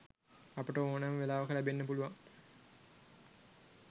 අපට ඕනම වෙලාවක ලැබෙන්න පුළුවන්